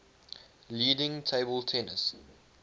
leading table tennis